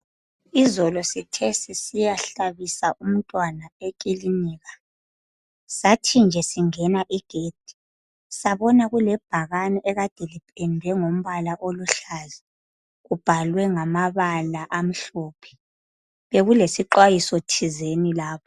Izolo sithe sisiyahlabisa umntwana ekilinika sathi nje singena igedi sabona kulebhakani ekade lipendwe ngombala oluhlaza, kubhalwe ngamabala amhlophe. Bekulesixwayiso thizeni lapho.